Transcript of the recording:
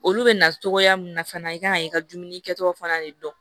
Olu bɛ na cogoya min na fana i kan k'i ka dumuni kɛtaw fana de dɔn